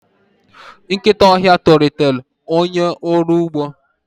nkịta ọhịa tolitere onye ọrụ ugbo